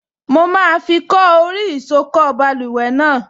Mo máa fi kọ́ orí ìsokọ́ báluwẹ̀ náà